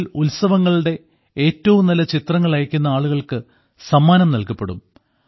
അതിൽ ഉത്സവങ്ങളുടെ ഏറ്റവും നല്ല ചിത്രങ്ങൾ അയക്കുന്ന ആളുകൾക്ക് സമ്മാനം നൽകപ്പെടും